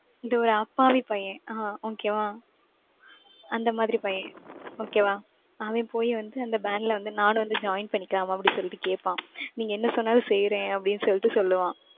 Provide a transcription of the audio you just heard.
இந்த ஒரு அப்பாவி பையன். ஆஹ் okay வா? அந்த மாதிரி பையன். okay வா? அவன் போய் வந்து, அந்த band ல வந்து, நானும் வந்து join பண்ணிக்கிலாம் அப்படி சொல்லிட்டு கேட்பான். நீங்க என்ன சொன்னாலும் செய்யறேன், அப்படின்னு சொல்லிட்டு சொல்லுவான்.